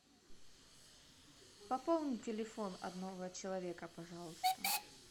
пополнить телефон одного человека пожалуйста